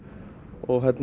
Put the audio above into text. og